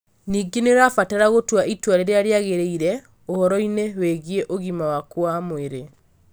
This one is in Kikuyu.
Ningĩ nĩ ũrabatara gũtua itua rĩrĩa rĩagĩrĩire ũhoro-inĩ wĩgiĩ ũgima waku wa mwĩrĩ.